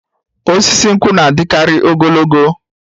Osisi nkwụ na-adịkarị ogologo